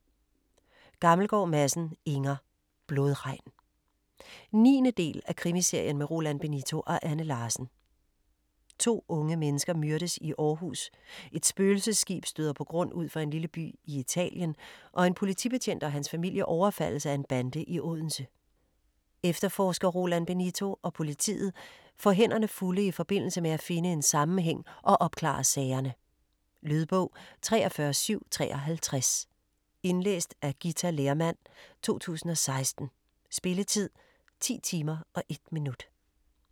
Gammelgaard Madsen, Inger: Blodregn 9. del af Krimiserien med Roland Benito og Anne Larsen. To unge mennesker myrdes i Aarhus, et spøgelsesskib støder på grund ud for en lille by i Italien og en politibetjent og hans familie overfaldes af en bande i Odense. Efterforsker Roland Benito og politiet får hænderne fulde i forbindelse med at finde en sammenhæng og opklare sagerne. Lydbog 43753 Indlæst af Ghita Lehrmann, 2016. Spilletid: 10 timer, 1 minut.